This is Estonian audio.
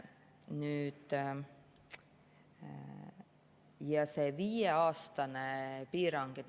Nüüd see viieaastane piirang.